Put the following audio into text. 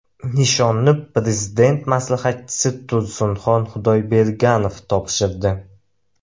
Nishonni Prezident maslahatchisi Tursinxon Xudoyberganov topshirdi.